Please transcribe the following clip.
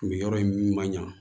Nin yɔrɔ in ma ɲa